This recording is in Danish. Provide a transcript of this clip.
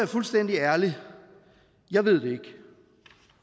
fuldstændig ærlig jeg ved det ikke